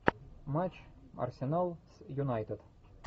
матч арсенал с юнайтед